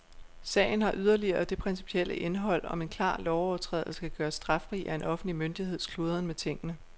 Sagen har yderligere det principielle indhold, om en klar lovovertrædelse kan gøres straffri af en offentlig myndigheds kludren med tingene.